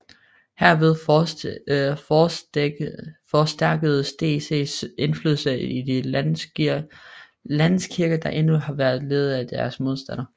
Herved forstærkedes DCs indflydelse i de landskirker der endnu var ledet af deres modstandere